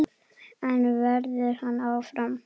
En verður hann áfram?